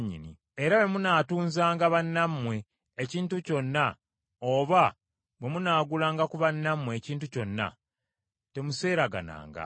Era bwe munaatunzanga bannammwe ekintu kyonna oba bwe munaagulanga ku bannammwe ekintu kyonna, temuseeragananga.